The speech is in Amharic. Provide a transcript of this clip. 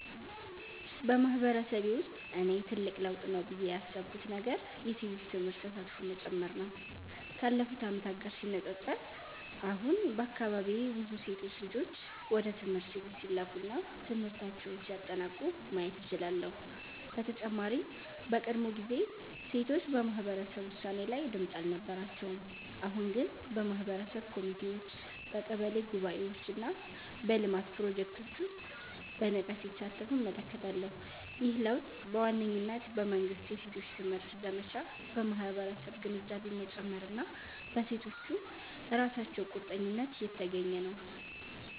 በማህበረሰቤ ውስጥ እኔ ትልቅ ለውጥ ነው ብዬ ያሰብኩት ነገር የሴቶች ትምህርት ተሳትፎ መጨመር ነው። ካለፉት ዓመታት ጋር ሲነጻጸር፣ አሁን በአካባቢዬ ብዙ ሴት ልጆች ወደ ትምህርት ቤት ሲላኩ እና ትምህርታቸውን ሲያጠናቅቁ ማየት እችላለሁ። በተጨማሪም በቀድሞ ጊዜ ሴቶች በማህበረሰብ ውሳኔ ላይ ድምጽ አልነበራቸውም፤ አሁን ግን በማህበረሰብ ኮሚቴዎች፣ በቀበሌ ጉባኤዎች እና በልማት ፕሮጀክቶች ውስጥ በንቃት ሲሳተፉ እመለከታለሁ። ይህ ለውጥ በዋነኝነት በመንግሥት የሴቶች ትምህርት ዘመቻ፣ በማህበረሰብ ግንዛቤ መጨመር እና በሴቶቹ ራሳቸው ቁርጠኝነት የተገኘ ነው።